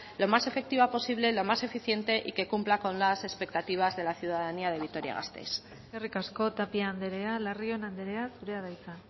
lo más efectiva posible lo más eficiente y que cumpla con las expectativas de la ciudadanía de vitoria gasteiz eskerrik asko tapia andrea larrion andrea zurea da hitza